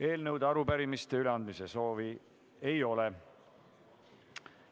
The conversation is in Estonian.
Eelnõude ja arupärimiste üleandmise soovi ei ole.